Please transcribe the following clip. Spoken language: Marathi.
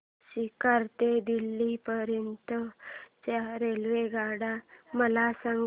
सीकर ते दिल्ली पर्यंत च्या रेल्वेगाड्या मला सांगा